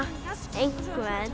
einhvern